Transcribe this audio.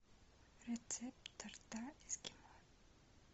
рецепт торта эскимо